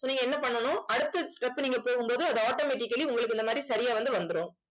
so நீங்க என்ன பண்ணணும் அடுத்த step நீங்க போகும் போது அது automatically உங்களுக்கு இந்த மாதிரி சரியா வந்து வந்துரும்.